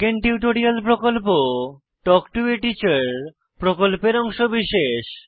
spoken tutorial প্রকল্প talk to a teacher প্রকল্পের অংশবিশেষ